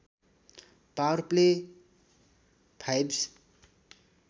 power play fives